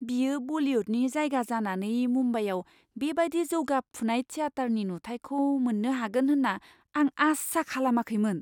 बियो बलिउडनि जायगा जानानै मुम्बाइआव बेबादि जौगाफुनाय थियाटारनि नुथायखौ मोन्नो हागोन होन्ना आं आसा खालामाखैमोन।